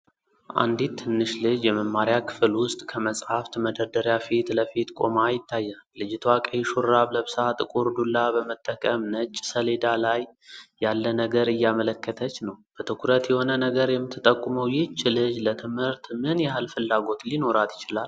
አንዲት ትንሽ ልጅ የመማሪያ ክፍል ውስጥ ከመጻሕፍት መደርደሪያ ፊት ለፊት ቆማ ይታያል። ልጅቷ ቀይ ሹራብ ለብሳ፣ ጥቁር ዱላ በመጠቀም ነጭ ሰሌዳ ላይ ያለ ነገር እያመለከተች ነው። በትኩረት የሆነ ነገር የምትጠቁመው ይህች ልጅ ለትምህርት ምን ያህል ፍላጎት ሊኖራት ይችላል?